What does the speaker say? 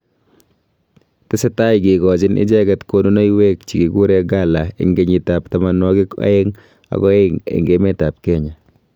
tesetai kikochini icheket kunonuiwek chekikure gala enge kenyit ab tamanwagik aeng aka aeng eng emet ab Kenya.